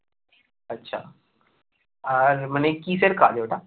আচ্ছা আর মানে কিসের কাজ ওটা?